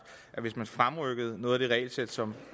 at hvis man fremrykkede noget af det regelsæt som